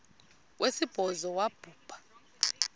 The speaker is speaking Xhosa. wesibhozo wabhu bha